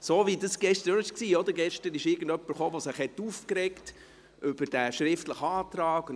So, wie das gestern auch war: Gestern kam jemand, der sich über diesen schriftlichen Antrag aufregte.